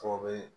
Fɔ bɛ